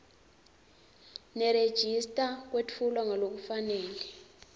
nerejista kwetfulwe ngalokufanele